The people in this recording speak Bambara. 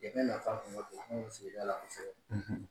sigida la kosɛbɛ.